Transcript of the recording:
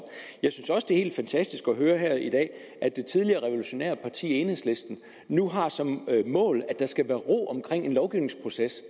jeg synes også det er helt fantastisk at høre her i dag at det tidligere revolutionære parti enhedslisten nu har som mål at der skal være ro omkring en lovgivningsproces